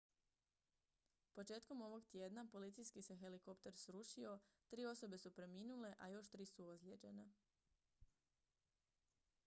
početkom ovog tjedna policijski se helikopter srušio tri osobe su preminule a još tri su ozlijeđene